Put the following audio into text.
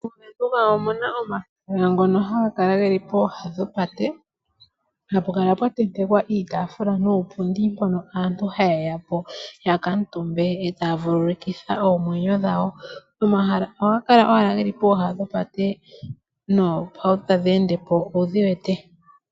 Mo Venduka omuna omahala ngono haga kala pooha dhopate . Hapu kala pwa tentekwa iitaafula niipundi. Mpono aantu haya kuutumba ngele taya vululukwa. Omahala ohaga kala owala pooha dhopate noohauto tadhi ende po owudhi wete.